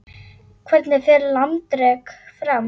Hvernig fer landrek fram?